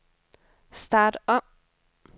start om